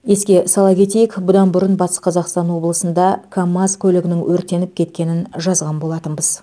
еске сала кетейік бұдан бұрын батыс қазақстан облысында камаз көлігінің өртеніп кеткенін жазған болатынбыз